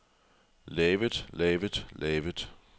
lavet lavet lavet